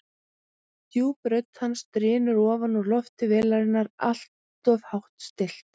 Djúp rödd hans drynur ofan úr lofti vélarinnar, alltof hátt stillt.